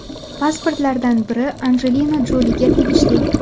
Pasportlardan biri Anjelina Joliga tegishli.